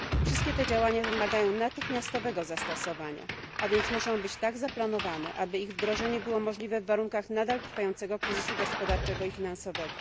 Wszystkie te działania wymagają natychmiastowego zastosowania, a więc muszą być tak zaplanowane, aby ich wdrożenie było możliwe w warunkach nadal trwającego kryzysu gospodarczego i finansowego.